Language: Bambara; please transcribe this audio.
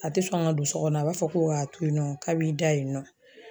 A te sɔn ka don sɔkɔnɔ a b'a fɔ ko k'a to yen nɔ k'a b'i da yen nɔ